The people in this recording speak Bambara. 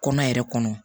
Kɔnɔ yɛrɛ kɔnɔ